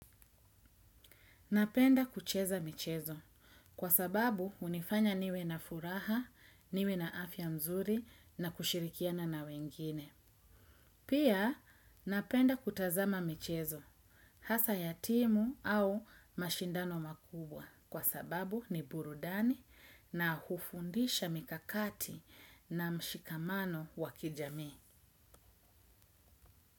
Napenda kucheza michezo kwa sababu unifanya niwe na furaha, niwe na afya mzuri na kushirikiana na wengine. Pia napenda kutazama michezo hasaa ya timu au mashindano makubwa kwa sababu ni burudani na hufundisha mikakati na mshikamano wa kijamii.